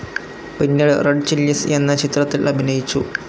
പിന്നീട് Red Chillies എന്ന ചിത്രത്തിൽ അഭിനയിച്ചു.